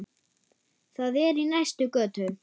Það er í næstu götu.